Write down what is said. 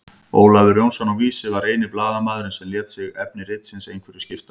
Ólafur Jónsson á Vísi var eini blaðamaðurinn sem lét sig efni ritsins einhverju skipta.